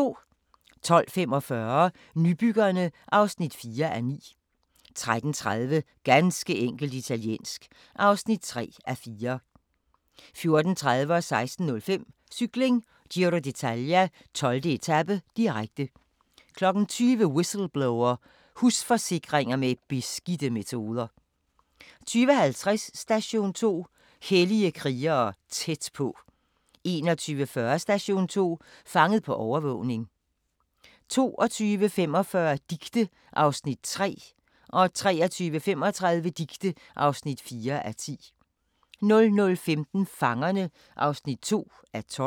12:45: Nybyggerne (4:9) 13:30: Ganske enkelt italiensk (3:4) 14:30: Cykling: Giro d'Italia - 12. etape, direkte 16:05: Cykling: Giro d'Italia - 12. etape, direkte 20:00: Whistleblower: Husforsikringer med beskidte metoder 20:50: Station 2: Hellige krigere tæt på 21:40: Station 2: Fanget på overvågning 22:45: Dicte (3:10) 23:35: Dicte (4:10) 00:15: Fangerne (2:12)